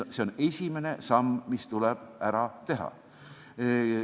See on esimene samm, mis tuleb ära teha.